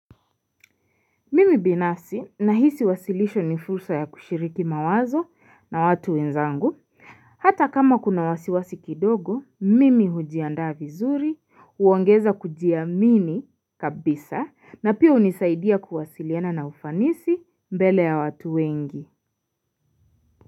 Mimi binafsi na hisi wasilisho ni fursa ya kushiriki mawazo na watu wenzangu. Hata kama kuna wasiwasi kidogo, mimi hujiandaa vizuri, huongeza kujiamini kabisa na pia unisaidia kuwasiliana na ufanisi mbele ya watu wengi.